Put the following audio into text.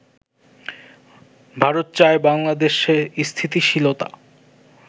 ভারত চায় বাংলাদেশে স্থিতিশীলতা